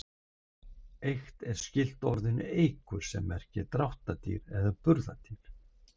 Eykt er skylt orðinu eykur sem merkir dráttardýr, burðardýr.